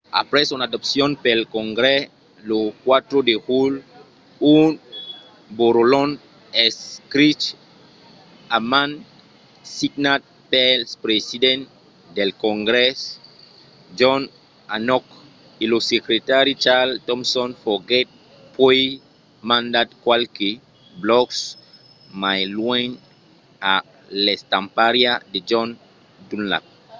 aprèp son adopcion pel congrès lo 4 de julh un borrolhon escrich a man signat pel president del congrès john hancock e lo secretari charles thomson foguèt puèi mandat qualques blòcs mai luènh a l'estampariá de john dunlap